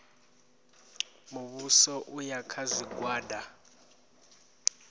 muvhuso u ya kha zwigwada